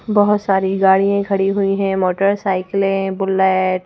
बहुत सारी गाड़ियां खड़ी हुई हैं मोटरसाइकिलें बुलेट --